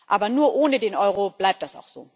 Aber nur ohne den Euro bleibt das